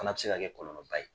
Fana bɛ se ka kɛ kɔlɔlɔ ba ye.